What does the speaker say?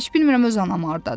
Mən heç bilmirəm öz anam hardadır.